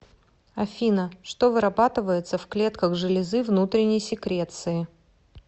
афина что вырабатывается в клетках железы внутренней секреции